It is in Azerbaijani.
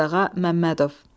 Əzizağa Məmmədov.